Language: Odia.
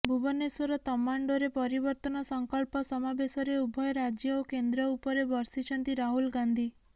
ଭୁବନେଶ୍ୱର ତମାଣ୍ଡୋରେ ପରିବର୍ତ୍ତନ ସଂକଳ୍ପ ସମାବେଶରେ ଉଭୟ ରାଜ୍ୟ ଓ କେନ୍ଦ୍ର ଉପରେ ବର୍ଷିଛନ୍ତି ରାହୁଲ ଗାନ୍ଧି